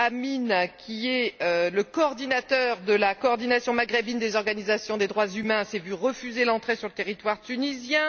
Amin, qui est le coordinateur de la Coordination maghrébine des organisations des droits humains, s'est vu refuser l'entrée sur le territoire tunisien.